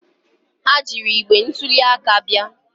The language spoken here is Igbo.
Ha jiiri igbe ntuli aka bịa.